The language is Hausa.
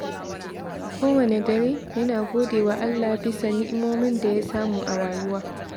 Kowanne dare, yana gode wa Allah bisa ni’imomin da ya samu a rayuwa.